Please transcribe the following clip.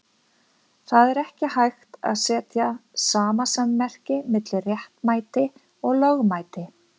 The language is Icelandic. Það er ekki hægt að setja samasemmerki milli réttmæti og lögmæti.